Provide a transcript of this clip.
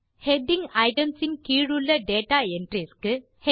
heading items இன் கீழுள்ள data entries க்கு